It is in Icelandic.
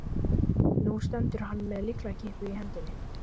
Nú stendur hann með lyklakippuna í hendinni.